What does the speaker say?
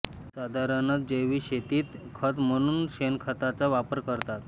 साधारणत जैविक शेतीत खत म्हणून शेणखताचा वापर करतात